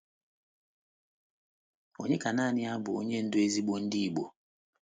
Ònye ka nanị ya bụ Onye Ndú ezigbo ndị Igbo?